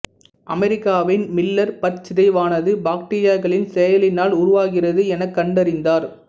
அமெரிக்காவின் மில்லர் பற்சிதைவானது பாக்டீரியாக்களின் செயலினால் உருவாகிறது எனக் கண்டறிந்தார்